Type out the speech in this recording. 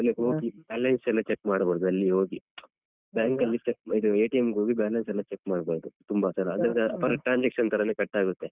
Balance ಎಲ್ಲ check ಮಾಡ್ಬೋದು ಅಲ್ಲಿ ಹೋಗಿಯು bank ಲ್ಲಿ check ಇದ್ ಗ್‌ ಹೋಗಿ balance ಎಲ್ಲಾ check ಮಾಡ್ಬಾರ್ದು ತುಂಬಾ ಸಲ ಅಂದ್ರೆ per transaction ತರಾನೆ cut ಆಗುತ್ತೆ.